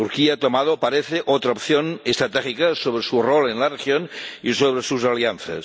Turquía ha tomado, parece, otra opción estratégica sobre su rol en la región y sobre sus alianzas.